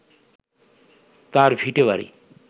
তাঁর ভিটেবাড়ি